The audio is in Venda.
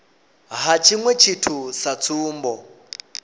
ha tshiṅwe tshithu sa tsumbo